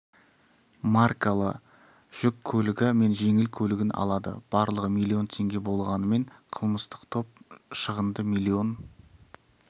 маркалы жүк көлігі мен жеңіл көлігін алады барлығы миллион теңге болғанымен қылмыстық топ шығынды миллион